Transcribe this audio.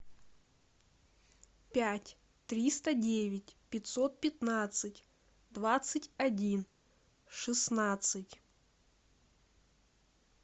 пять триста девять пятьсот пятнадцать двадцать один шестнадцать